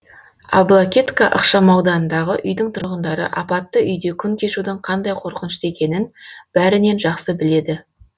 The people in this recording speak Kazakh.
аблакетка ықшамауданындағы үйдің тұрғындары апатты үйде күн кешудің қандай қорқынышты екенін бәрінен жақсы біледі